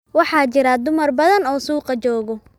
Waxaa jira dumar badan oo suuqa joogo